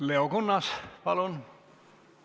Leo Kunnas, palun!